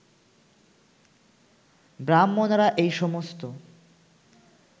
ব্রাহ্মণেরা এই সমস্ত